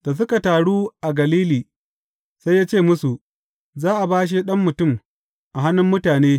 Da suka taru a Galili, sai ya ce musu, Za a bashe Ɗan Mutum, a hannun mutane.